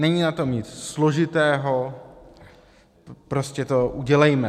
Není na tom nic složitého, prostě to udělejme.